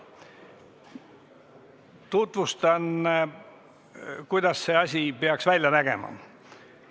Tutvustan, kuidas see asi peaks välja nägema.